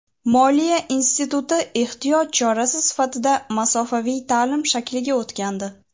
Moliya instituti ehtiyot chorasi sifatida masofaviy ta’lim shakliga o‘tgandi.